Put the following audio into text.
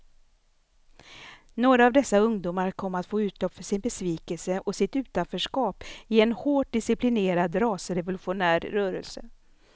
Några av dessa ungdomar kom att få utlopp för sin besvikelse och sitt utanförskap i en hårt disciplinerad rasrevolutionär rörelse.